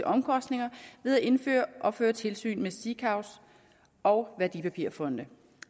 omkostninger ved at indføre og føre tilsyn med sikaver og værdipapirfonde